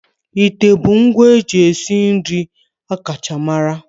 Ite bụ ngwa eji esi nri akacha mara.